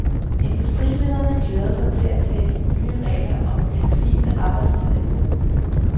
Industrilederne glæder sig til at tage de nye regler om fleksibel arbejdstid i brug.